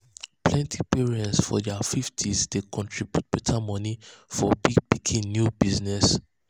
plenty parents for ther 50s dey contriburte better money for big pikin new business